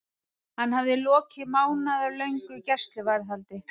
Hann hafði lokið mánaðarlöngu gæsluvarðhaldi.